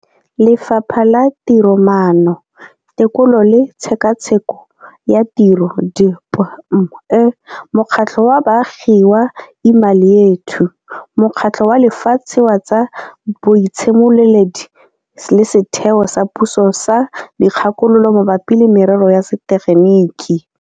Lefapha la Tiromaano, Tekolo le Tshekatsheko ya Tiro DPME, mokgatlho wa baagi wa Imali Yethu, Mokgatlho wa Lefatshe wa tsa Boitshimololedi le Setheo sa Puso sa Dikgakololo Mabapi le Merero ya Setegeniki.